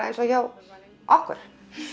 eins og hjá okkur